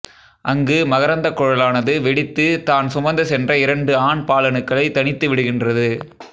அங்கு மகரந்தக்குழலானது வெடித்து தான் சுமந்து சென்ற இரண்டு ஆண் பாலணுக்களை தனித்து விடுகின்றது